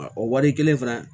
O waati kelen fana